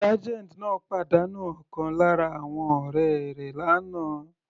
Sergeant náà pàdánù ọ̀kan lára àwọn ọ̀rẹ́ rẹ̀ l'ana.